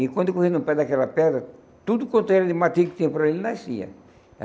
E quando corria no pé daquela pedra, tudo quanto era de matilha que tinha por aí, nascia.